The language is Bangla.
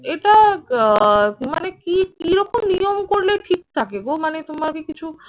এটা আহ মানে কি কিরকম নিয়ম করলে ঠিক থাকে গো মানে তোমার কি কিছু